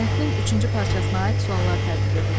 Mətnin üçüncü parçasına aid suallar tərtib edin.